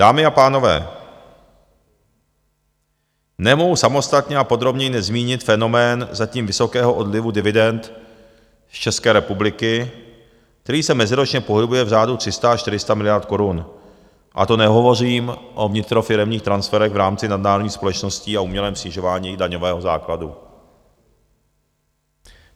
Dámy a pánové, nemohu samostatně a podrobněji nezmínit fenomén zatím vysokého odlivu dividend z České republiky, který se meziročně pohybuje v řádu 300 až 400 miliard korun, a to nehovořím o vnitrofiremních transferech v rámci nadnárodních společností a umělém snižování daňového základu.